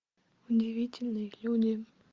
удивительные люди